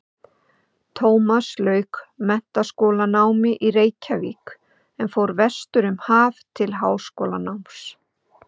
Tómas lauk menntaskólanámi í Reykjavík en fór vestur um haf til háskólanáms.